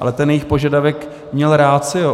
Ale ten jejich požadavek měl ratio.